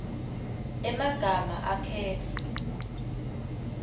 emagama akhetfwe